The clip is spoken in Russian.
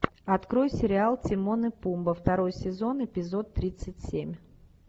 открой сериал тимон и пумба второй сезон эпизод тридцать семь